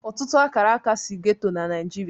Ọtụtụ Akaraka si ghetto na Nigeria.